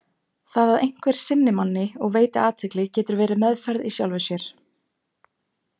Það að einhver sinni manni og veiti athygli getur verið meðferð í sjálfu sér.